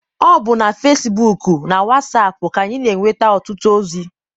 Ọ bụ na fesibuuku na wasaapụ ka anyị m'enweta ọtụtụ ozi.